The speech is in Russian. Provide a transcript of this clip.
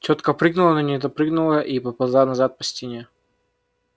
тётка прыгнула но не допрыгнула и поползла назад по стене